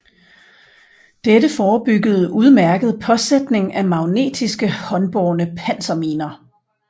Dette forebyggede udmærket påsætning af magnetiske håndbårne panserminer